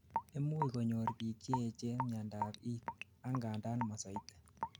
imuch konyor biik Cheechen miandap it it, angandan mosoiti